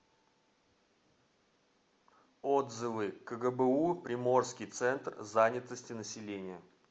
отзывы кгбу приморский центр занятости населения